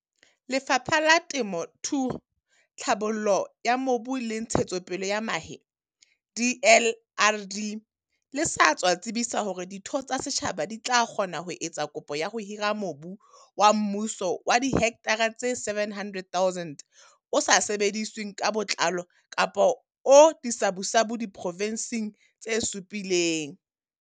Lefapha la Temo thuo, Tlhabollo ya Mobu le Ntshetsopele ya Mahe DLRD le sa tswa tsebisa hore ditho tsa setjhaba di tla kgona ho etsa kopo ya ho hira mobu wa mmuso wa dihekthara tse 700 000 o sa sebedisweng ka botlalo kapo o disabusabu diprovenseng tse supileng.